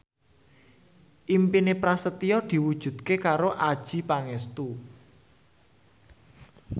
impine Prasetyo diwujudke karo Adjie Pangestu